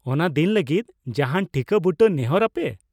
ᱚᱱᱟ ᱫᱤᱱ ᱞᱟᱹᱜᱤᱫ ᱡᱟᱦᱟᱱ ᱴᱷᱤᱠᱟᱹ ᱵᱩᱴᱟᱹ ᱱᱮᱦᱚᱨ ᱟᱯᱮ ?